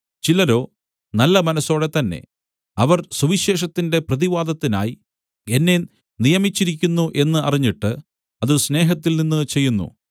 ചിലരോ നല്ല മനസ്സോടെ തന്നെ അവർ സുവിശേഷത്തിന്റെ പ്രതിവാദത്തിനായി എന്നെ നിയമിച്ചിരിക്കുന്നു എന്ന് അറിഞ്ഞിട്ട് അത് സ്നേഹത്തിൽനിന്ന് ചെയ്യുന്നു